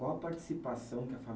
Qual a participação que a